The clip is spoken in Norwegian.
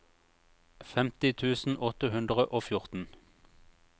femti tusen åtte hundre og fjorten